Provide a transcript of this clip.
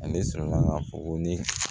Ale sɔrɔla ka fɔ ko ne